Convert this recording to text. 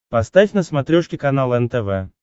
поставь на смотрешке канал нтв